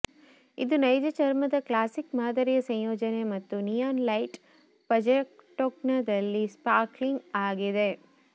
ಇದು ನೈಜ ಚರ್ಮದ ಕ್ಲಾಸಿಕ್ ಮಾದರಿಯ ಸಂಯೋಜನೆ ಮತ್ತು ನಿಯಾನ್ ಲೈಟ್ ಪಜೆಟೊಕ್ನಲ್ಲಿ ಸ್ಪಾರ್ಕ್ಲಿಂಗ್ ಆಗಿದೆ